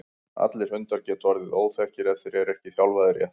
allir hundar geta orðið óþekkir ef þeir eru ekki þjálfaðir rétt